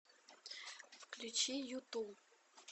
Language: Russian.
включи юту